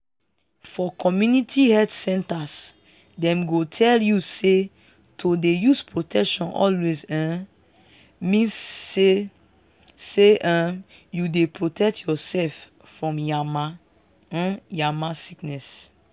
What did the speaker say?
for community health centres dem go tell you say to dey use protection always um means say say um you dey protect yourself from yama um yama sickness